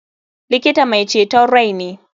Likita mai ceton rai ne.